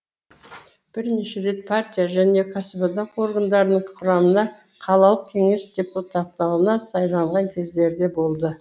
бірнеше рет партия және кәсіподақ органдарының құрамына қалалық кеңес депутаттығына сайланған кездері де болды